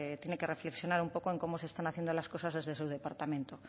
tiene que reflexionar en cómo se están haciendo las cosas desde su departamento